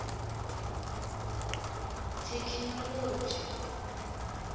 thekhinoḽodzhi